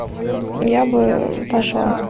я бы пошла